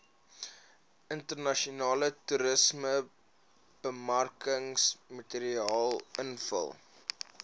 internasionale toerismebemarkingsmateriaal invul